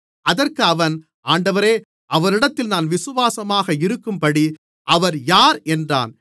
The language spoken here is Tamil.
அதற்கு அவன் ஆண்டவரே அவரிடத்தில் நான் விசுவாசமாக இருக்கும்படிக்கு அவர் யார் என்றான்